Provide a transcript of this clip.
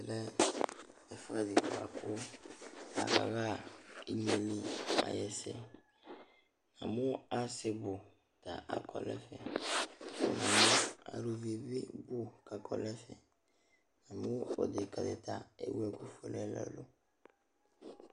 Ɛmɛ ɛfʋɛdɩ bʋa kʋ akaɣa inye yɛ li ayʋ ɛsɛ Namʋ asɩ bʋ ta akɔ nʋ ɛfɛ Namʋ aluvi bɩ bʋ kʋ akɔ nʋ ɛfɛ Namʋ odekǝ dɩ ta ewu ɛkʋfue nʋ ɛlʋ ɛlʋ